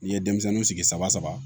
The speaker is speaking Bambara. N'i ye denmisɛnninw sigi saba saba